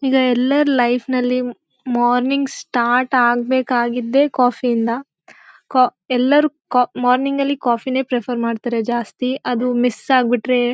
ಈಗ ಎಲ್ಲಾರ ಲೈಫ್ ನಲ್ಲಿ ಮಾರ್ನಿಂಗ್ ಸ್ಟಾರ್ಟ್ ಆಗ್ಬೇಕಾಗಿದ್ದೆ ಕಾಫಿ ಇಂದ. ಕ ಎಲ್ಲರೂ ಕ ಮಾರ್ನಿಂಗ್ ಅಲ್ಲಿ ಕಾಫಿ ನೇ ರೆಫರ್ ಮಾಡ್ತಾರೆ ಜಾಸ್ತಿ ಅದು ಮಿಸ್ ಆಗ್ಬಿಟ್ರೆ--